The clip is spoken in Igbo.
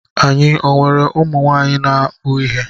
Anyị ọ nwere ụmụ nwaanyị na-akpụ ihe.